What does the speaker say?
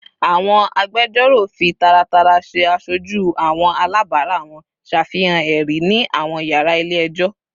Awọn agbẹjọro fi taratara ṣe aṣoju awọn alabara wọn, ṣafihan ẹri ni awọn yara ile-ẹjọ